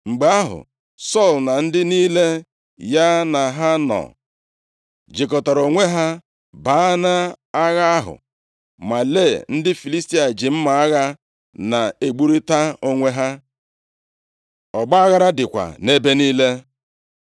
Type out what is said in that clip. Mgbe ahụ, Sọl na ndị niile ya na ha nọ jikọtara onwe ha baa nʼagha ahụ, ma lee, ndị Filistia ji mma agha na-egburita onwe ha. Ọgbaaghara dịkwa nʼebe niile.